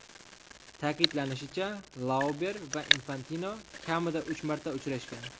Ta’kidlanishicha, Lauber va Infantino kamida uch marta uchrashgan.